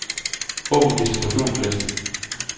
Åbn distributionsliste.